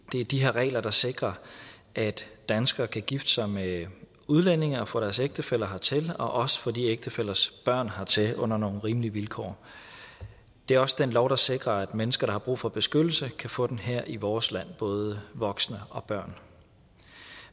er de her regler der sikrer at danskere kan gifte sig med udlændinge og få deres ægtefælle hertil og også få ægtefællens børn hertil under nogle rimelige vilkår det er også den lov der sikrer at mennesker der har brug for beskyttelse kan få den her i vores land både voksne og børn